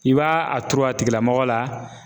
I ba a turu a tigilamɔgɔ la.